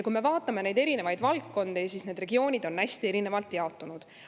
Kui me vaatame neid erinevaid valdkondi, siis näeme, et need regioonid on hästi erinevalt jaotunud.